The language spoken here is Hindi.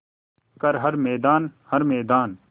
कर हर मैदान हर मैदान